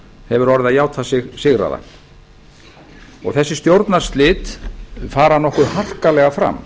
hefur orðið að játa sig sigraða þessi stjórnarslit fara nokkuð harkalega fram